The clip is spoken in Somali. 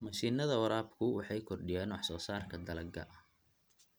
Mashiinnada waraabku waxay kordhiyaan wax soo saarka dalagga.